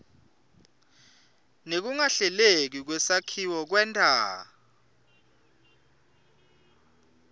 nekungahleleki kwesakhiwo kwenta